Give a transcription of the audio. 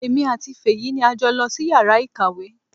Èmi àti Fèyí ni a jọ lọ sí yàrá ìkàwé.